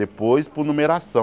Depois por numeração.